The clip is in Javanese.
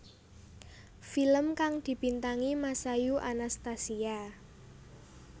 Film kang dibintangi Masayu Anastasia